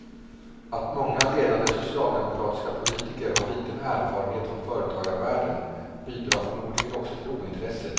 Att många ledande socialdemokratiska politiker har liten erfarenhet från företagarvärlden bidrar förmodligen också till ointresset.